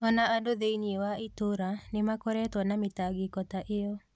O na andũ thĩinĩ wa itũũra nĩ makoretwo na mĩtangĩko ta ĩyo.